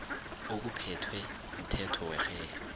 okuphethwe mthetho werhelo